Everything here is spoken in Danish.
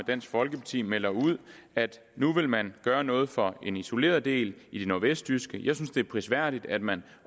dansk folkeparti melder ud at nu vil man gøre noget for en isoleret del i det nordvestjyske jeg synes det er prisværdigt at man